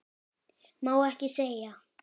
Má ekki segja.